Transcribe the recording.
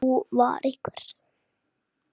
Nú vantar mig aðeins eitt!